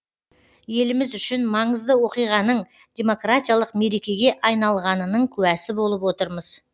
еліміз үшін маңызды оқиғаның демократиялық мерекеге айналғанының куәсі болып отырмыз